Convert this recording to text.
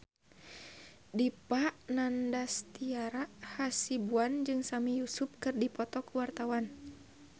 Dipa Nandastyra Hasibuan jeung Sami Yusuf keur dipoto ku wartawan